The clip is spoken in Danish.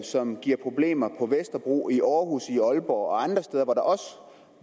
som giver problemer på vesterbro i aarhus i aalborg og andre steder hvor der også